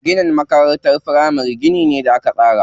Ginin makarantar firamari gini ne da aka tsara.